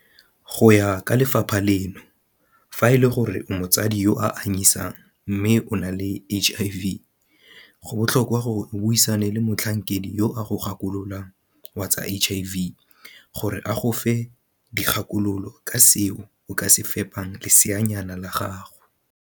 Go ya ka lefapha leno, fa e le gore o motsadi yo a anyisang mme o na le HIV, go botlhokwa gore o buisane le motlhankedi yo a go gakololang wa tsa HIV gore a go fe dikgakololo ka seo o ka se fepang leseanyana la gago.